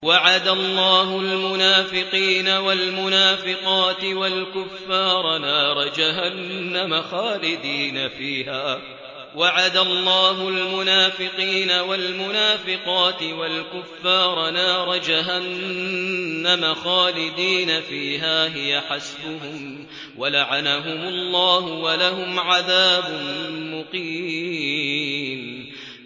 وَعَدَ اللَّهُ الْمُنَافِقِينَ وَالْمُنَافِقَاتِ وَالْكُفَّارَ نَارَ جَهَنَّمَ خَالِدِينَ فِيهَا ۚ هِيَ حَسْبُهُمْ ۚ وَلَعَنَهُمُ اللَّهُ ۖ وَلَهُمْ عَذَابٌ مُّقِيمٌ